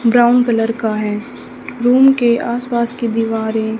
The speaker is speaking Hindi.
ब्राउन कलर का है रूम के आस पास की दीवारें--